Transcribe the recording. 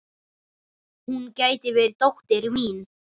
Hún gæti verið dóttir mín.